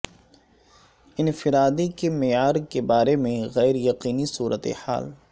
انفرادی کے معیار کے بارے میں غیر یقینی صورتحال